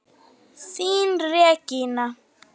Þín Regína.